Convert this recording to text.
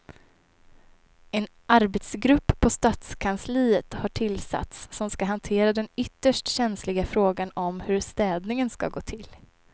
En arbetsgrupp på stadskansliet har tillsatts som ska hantera den ytterst känsliga frågan om hur städningen ska gå till.